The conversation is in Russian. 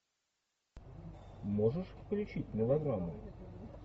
можешь включить мелодраму